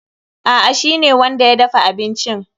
A'a, shi ne wanda ya dafa abincin.